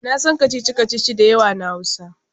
Na san kacici-kacici da yawa na Hausa.